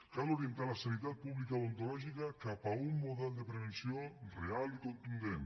cal orientar la sanitat pública odontològica cap a un model de prevenció real i contundent